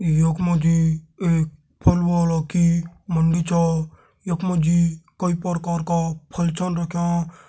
यक मजी एक फल वाला की मंडी छा। यक मजी कई परकार का फल छन रख्यां।